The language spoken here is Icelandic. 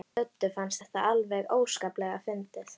Döddu fannst þetta alveg óskaplega fyndið.